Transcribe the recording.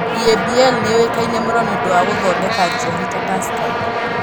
EABL nĩ yũĩkaine mũno nĩ ũndũ wa gũthondeka njohi ta Tusker.